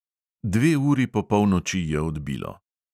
Dve uri po polnoči je odbilo.